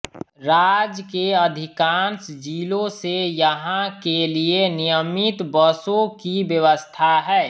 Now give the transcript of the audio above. राज्य के अधिकांश जिलों से यहां के लिए नियमित बसों की व्यवस्था है